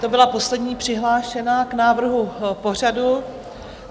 To byla poslední přihlášená k návrhu pořadu.